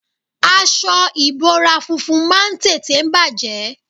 Aṣọ ìbora funfun máa ń tètè bàjé.